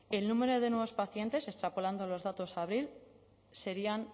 el número de nuevos pacientes extrapolando los datos a abril serían